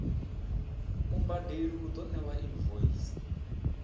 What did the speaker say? mubadeli u ḓo ṋewa invoice